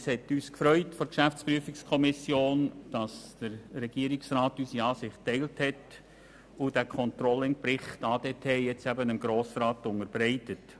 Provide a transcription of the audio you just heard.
Es hat die GPK gefreut, dass der Regierungsrat unsere Ansicht geteilt hat und den ControllingBericht ADT dem Grossen Rat unterbreitet.